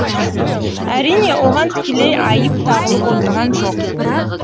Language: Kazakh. әрине оған тікелей айып тағылып отырған жоқ